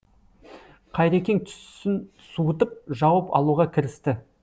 қайрекең түсін суытып жауап алуға кірісті